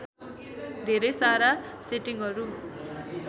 धेरै सारा सेटिङहरू